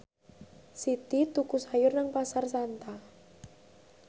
Siti tuku sayur nang Pasar Santa